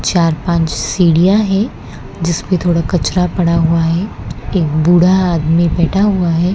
चार पांच सीढ़ियां है जिसपे थोड़ा कचरा पड़ा हुआ है एक बूढ़ा आदमी बैठा हुआ है।